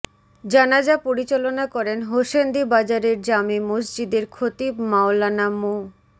জানাজা পরিচালনা করেন হোসেন্দি বাজারের জামে মসজিদের খতিব মাওলানা মো